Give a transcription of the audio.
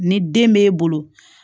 Ni den b'e bolo